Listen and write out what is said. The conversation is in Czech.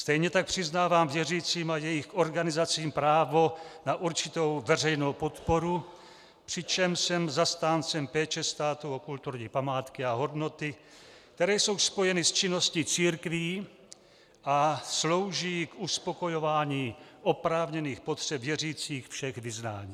Stejně tak přiznávám věřícím a jejich organizacím právo na určitou veřejnou podporu, přičemž jsem zastáncem péče státu o kulturní památky a hodnoty, které jsou spojeny s činností církví a slouží k uspokojování oprávněných potřeb věřících všech vyznání.